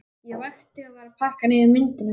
Ég vakti og var að pakka niður myndunum.